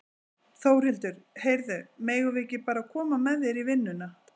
Þórhildur: Heyrðu, megum við ekki bara koma með þér í vinnuna?